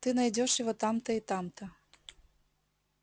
ты найдёшь его там-то и там-то